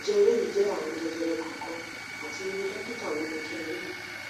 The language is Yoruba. nje eleyi le je arun jejere kan kan ati iru dokita wo ni kin ri